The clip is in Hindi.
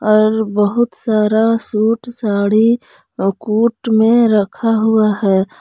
और बहुत सारा सूट साड़ी कुट में रखा हुआ है।